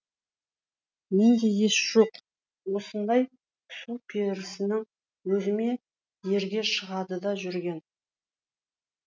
мен де ес жоқ осындай су перісінің өзіме ерге шығады да жүрген